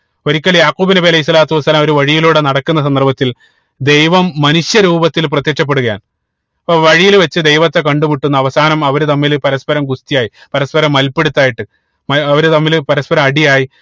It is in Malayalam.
ഒരിക്കൽ യാഖൂബ് നബി അലൈഹി സ്വലാത്തു വസ്സലാമ ഒരു വഴിയിലൂടെ നടക്കുന്ന സന്ദർഭത്തിൽ ദൈവം മനുഷ്യ രൂപത്തിൽ പ്രത്യക്ഷപ്പെടുകയാണ് അപ്പൊ വഴിയിൽ വെച്ച് ദൈവത്തെ കണ്ടു മുട്ടുന്നു അവസാനം അവര് തമ്മിൽ പരസ്പരം ഗുസ്തിയായി പരസ്പരം മൽപ്പിടിതായിട്ട് ഏർ അവര് തമ്മില് പരസ്പരം അടിയായി